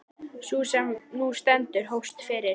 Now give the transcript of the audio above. Sú sem nú stendur hófst fyrir